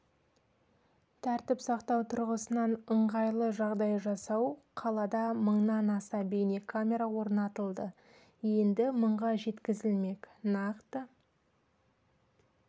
тәртіп сақтау тұрғысынан ыңғайлы жағдай жасау қалада мыңнан аса бейнекамера орнатылды енді мыңға жеткізілмек нақты